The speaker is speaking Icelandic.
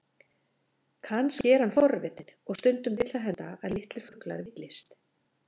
Kannski er hann forvitinn, og stundum vill það henda að litlir fuglar villist.